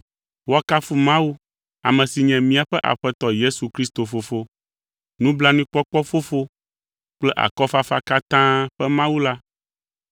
Woakafu Mawu, ame si nye míaƒe Aƒetɔ Yesu Kristo Fofo, nublanuikpɔkpɔ Fofo kple akɔfafa katã ƒe Mawu la,